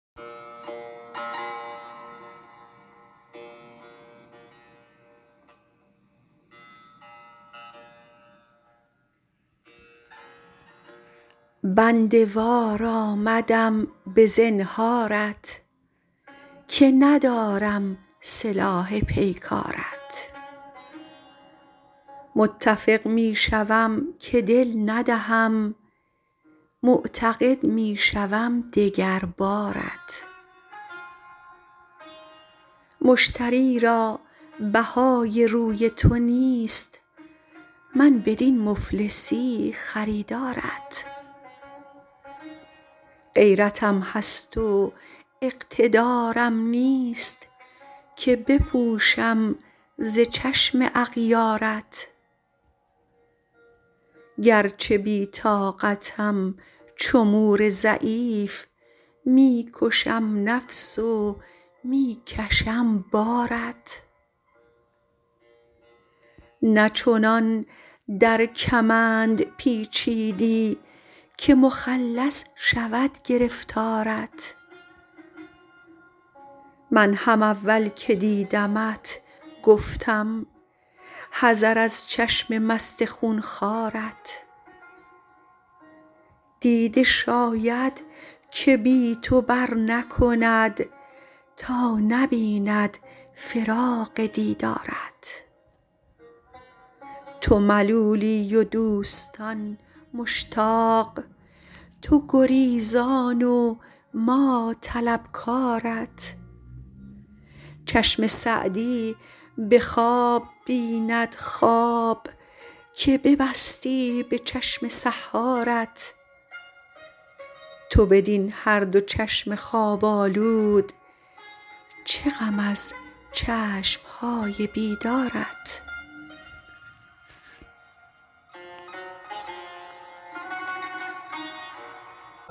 بنده وار آمدم به زنهارت که ندارم سلاح پیکارت متفق می شوم که دل ندهم معتقد می شوم دگر بارت مشتری را بهای روی تو نیست من بدین مفلسی خریدارت غیرتم هست و اقتدارم نیست که بپوشم ز چشم اغیارت گرچه بی طاقتم چو مور ضعیف می کشم نفس و می کشم بارت نه چنان در کمند پیچیدی که مخلص شود گرفتارت من هم اول که دیدمت گفتم حذر از چشم مست خون خوارت دیده شاید که بی تو برنکند تا نبیند فراق دیدارت تو ملولی و دوستان مشتاق تو گریزان و ما طلبکارت چشم سعدی به خواب بیند خواب که ببستی به چشم سحارت تو بدین هر دو چشم خواب آلود چه غم از چشم های بیدارت